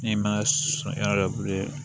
N'i ma sɔn yɔrɔ bilen